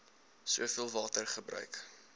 soveel water gebruik